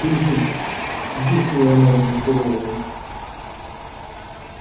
ты жив буркнула она разочарованно